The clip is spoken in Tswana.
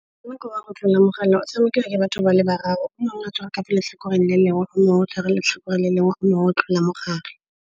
Motshameko wa go tlola mogala o tshamekiwa ke batho ba le bararo. O mongwe a tshwara ka fa letlhakoreng le lengwe, o mongwe go tshwara letlhakoreng le lengwe, o mongwe o tlola mo gare.